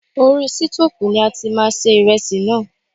Orí sítófùn ni a ti máa se iresi náà.